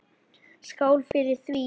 Skál fyrir því!